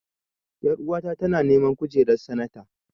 Ƴaruwa ta tana neman kujerar sanata.